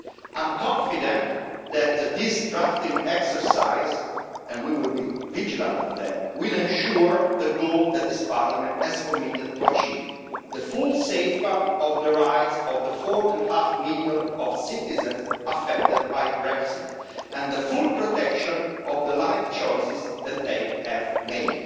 I'm confident that this drafting exercise and we will be vigilant on that will ensure the goal that this Parliament has committed to achieve the full safeguard of the rights of the four and a half million citizens affected by Brexit, and the full protection of the life choices that they have made.